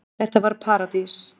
Þetta var paradís.